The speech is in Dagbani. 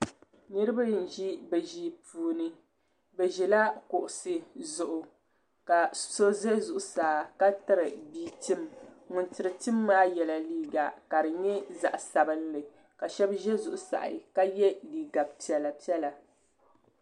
Niriba n ʒi bɛ ʒia puuni. Be Ʒɛla kuɣisi zuɣu. Ka so ʒɛ zuɣu saa ka tiri bia tim. Ŋun tiri tim maa yela liiga ka di nye zaɣi sabinli ka shebi za zuɣu saha ka ye liiga piela piela